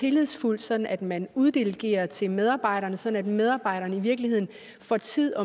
tillidsfuldt sådan at man uddelegerer til medarbejderne sådan at medarbejderne i virkeligheden får tid